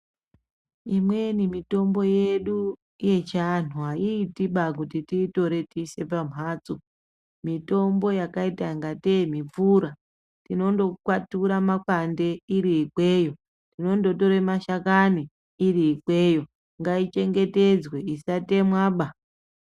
Imweni mitombo yedu yechi antu ayi iti baa kuti tiyi tore tiise pa mbatso mitombo yakaita kunga tee mipfura tinondo kwatura makwande iri ikweyo tinondo tore mashakani iri ikweyo ngai chengetedzwe isa temwa ba.